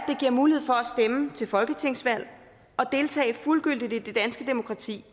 det giver mulighed for at stemme til folketingsvalg og deltage fuldgyldigt i det danske demokrati